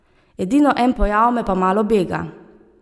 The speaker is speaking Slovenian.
Edino en pojav me pa malo bega.